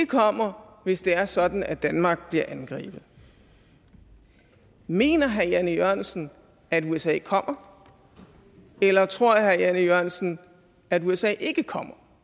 kommer hvis det er sådan at danmark bliver angrebet mener herre jan e jørgensen at usa kommer eller tror herre jan e jørgensen at usa ikke kommer